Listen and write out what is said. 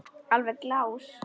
Alveg glás.